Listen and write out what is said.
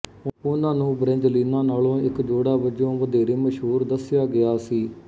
ਉਨ੍ਹਾਂ ਨੂੰ ਬ੍ਰੈਂਜਲੀਨਾ ਨਾਲੋਂ ਇੱਕ ਜੋੜਾ ਵਜੋਂ ਵਧੇਰੇ ਮਸ਼ਹੂਰ ਦੱਸਿਆ ਗਿਆ ਸੀ